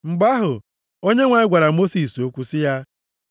Mgbe ahụ, Onyenwe anyị gwara Mosis okwu sị ya,